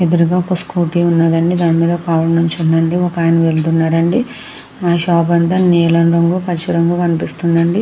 ఎదురుగా ఒక స్కూటీ ఉన్నదండి దాని మీద ఒక ఆవిడ నించుంది అండి ఒకాయన వెళ్తున్నాడు అండి ఆ షాప్ అంతా నీలం రంగు పచ్చ రంగు కనిపిస్తుంది అండి.